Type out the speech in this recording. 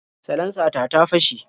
Salansa ta ta fashe.